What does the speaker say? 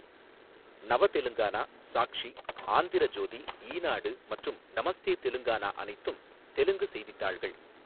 நவ தெலுங்கானா, சாக்ஷி, ஆந்திர ஜோதி, ஈனாடு மற்றும் நமஸ்தே தெலுங்கானா அனைத்தும் தெலுங்கு செய்தித்தாள்கள்.